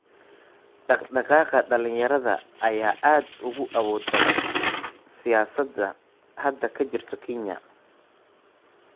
Dhaqdhaqaaqa dhalinyarada ayaa aad ugu awood badan siyaasada hadda ka jirta Kenya.